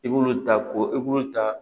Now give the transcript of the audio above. I b'olu ta ko i b'olu ta